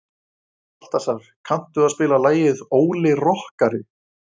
Baltasar, kanntu að spila lagið „Óli rokkari“?